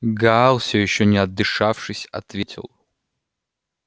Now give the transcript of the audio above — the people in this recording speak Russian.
гаал всё ещё не отдышавшись ответил